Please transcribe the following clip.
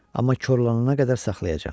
Amma korlanana qədər saxlayacağam.